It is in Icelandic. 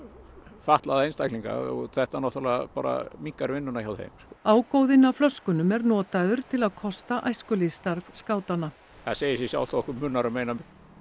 fatlaða einstaklinga og þetta náttúrulega bara minnkar vinnuna hjá þeim ágóðinn af flöskunum er notaður til að kosta æskulýðsstarf skátanna það segir sig sjálft að okkur munar um eina um